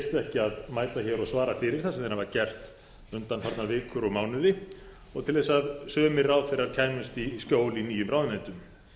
ekki að mæta hér og svara fyrir það sem þeir hafa gert undanfarnar vikur og mánuði og til að sumir ráðherrar kæmust í skjól í nýjum ráðuneytum